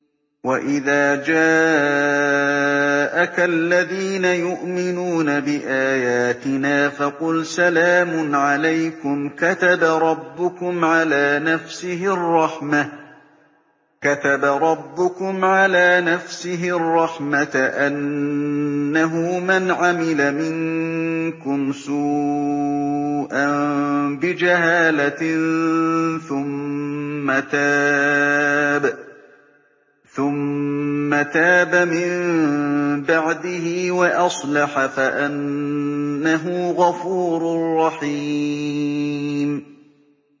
وَإِذَا جَاءَكَ الَّذِينَ يُؤْمِنُونَ بِآيَاتِنَا فَقُلْ سَلَامٌ عَلَيْكُمْ ۖ كَتَبَ رَبُّكُمْ عَلَىٰ نَفْسِهِ الرَّحْمَةَ ۖ أَنَّهُ مَنْ عَمِلَ مِنكُمْ سُوءًا بِجَهَالَةٍ ثُمَّ تَابَ مِن بَعْدِهِ وَأَصْلَحَ فَأَنَّهُ غَفُورٌ رَّحِيمٌ